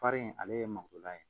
Fari in ale ye mangoro la ye